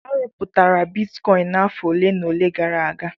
A rụpụtara bitikọin n'afọ ole na ole gara aga.